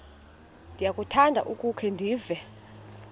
ndiyakuthanda ukukhe ndive